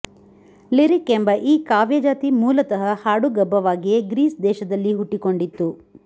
lyric ಎಂಬ ಈ ಕಾವ್ಯಜಾತಿ ಮೂಲತಃ ಹಾಡುಗಬ್ಬವಾಗಿಯೇ ಗ್ರೀಸ್ ದೇಶದಲ್ಲಿ ಹುಟ್ಟಿಕೊಂಡಿತ್ತು